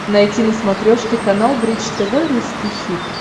найти на смотрешке канал бридж тв русский хит